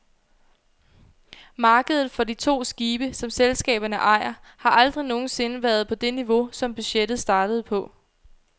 Markedet for de to skibe, som selskaberne ejer, har aldrig nogen sinde været på det niveau, som budgettet startede på.